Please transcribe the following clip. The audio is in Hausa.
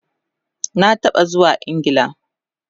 Na taba zuwa Ingla